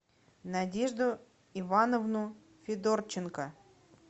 надежду ивановну федорченко